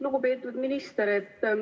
Lugupeetud minister!